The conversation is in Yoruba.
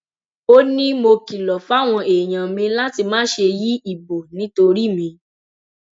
ó ní mo kìlọ fáwọn èèyàn mi láti má ṣe yí ìbò nítorí mi